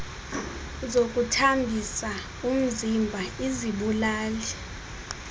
zokuthambisa umziba izibulali